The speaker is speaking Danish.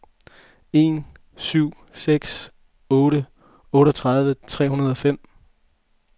en syv seks otte otteogtredive tre hundrede og fem